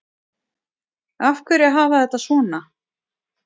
Af hverju að hafa þetta svona